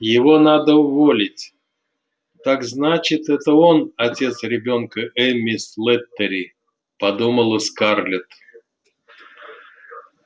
его надо уволить так значит это он отец ребёнка эмми слэттери подумала скарлетт